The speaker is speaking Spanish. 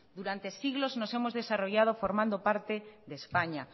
durante siglos nos hemos desarrollado formando parte de españa